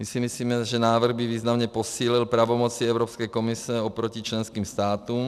My si myslíme, že návrh by významně posílil pravomoci Evropské komise oproti členským státům.